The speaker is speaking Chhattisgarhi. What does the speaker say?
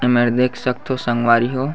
ए म देख सकथो संगवारीहो--